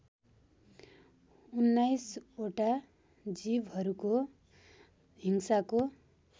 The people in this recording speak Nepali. उन्नाइसवटा जीवहरूको हिंसाको